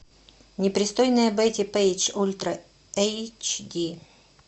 непристойная бетти пейдж ультра эйч ди